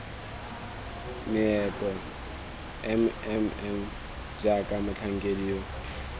meepo mmm jaaka motlhankedi yo